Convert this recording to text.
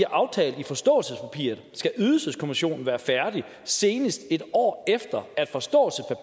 aftalt i forståelsespapiret skal ydelseskommissionen være færdig senest et år efter